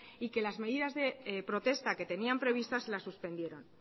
y que las medidas de protesta que tenían previstas las suspendieron